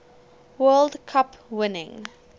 world cup winning